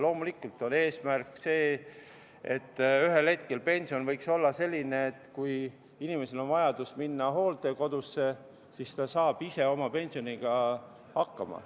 Loomulikult on eesmärk, et ühel hetkel pension võiks olla selline, et kui inimesel on vaja minna hooldekodusse, siis ta saab ise oma pensioniga hakkama.